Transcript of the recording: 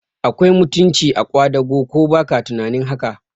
Akwai mutunci a kwadago, ko baka tunanin haka?